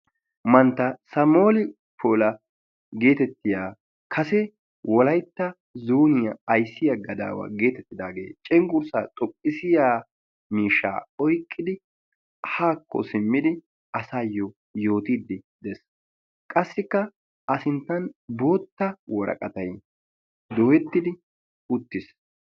Mantta samuueli poola getettiyaa kase wolaytta zooniyaa ayssiyaa gadawa geetettidagee cengurssaa xoqqisiyaa miishshaa oyqqidi haakko simmidi asaayoo yoottiidi de'ees. qassikka a sinttan bootta woraqatay dooyettidi uttiis.